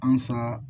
Ansa